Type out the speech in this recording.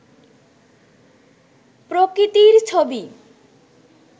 প্রকৃতির ছবি